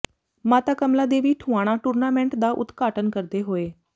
ਮਾਤਾ ਕਮਲਾ ਦੇਵੀ ਠੁਆਣਾ ਟੂੁਰਨਾਮੈਂਟ ਦਾ ਉਦਘਾਟਨ ਕਰਦੇ ਹੋਏ